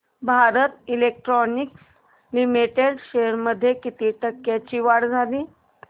Bharat electronics limited shares मध्ये किती टक्क्यांची वाढ झाली